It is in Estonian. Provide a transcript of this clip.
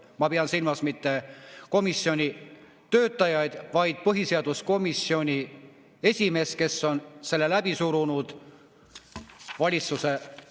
Ma ei pea silmas mitte komisjoni töötajaid, vaid põhiseaduskomisjoni esimeest, kes on selle valitsuse tahtel läbi surunud.